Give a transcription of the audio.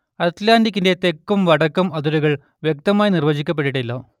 അറ്റ്‌ലാന്റിക്കിന്റെ തെക്കും വടക്കും അതിരുകൾ വ്യക്തമായി നിർവചിക്കപ്പെട്ടിട്ടില്ല